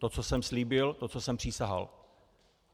To, co jsem slíbil, to, co jsem přísahal.